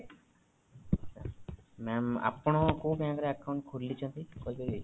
mam ଆପଣ କୋଉ bank ରେ account ଖୋଲିଛନ୍ତି କହିପାରିବେ?